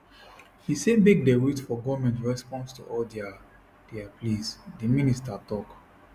e say make dem wait for goment response to all dia dia pleas di minister tok